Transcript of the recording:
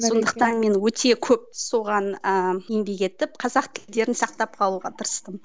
сондықтан мен өте көп соған ыыы еңбек етіп қазақ тілдерін сақтап қалуға тырыстым